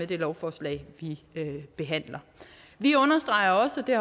det lovforslag vi behandler vi understreger også det